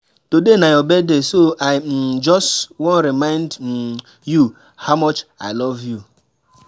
Today na your birthday so I um just wan remind um you how much I love you.